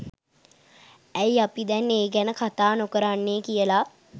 ඇයි අපි දැන් ඒ ගැන කතා නොකරන්නෙ කියල